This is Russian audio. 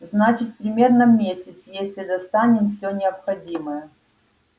значит примерно месяц если достанем все необходимое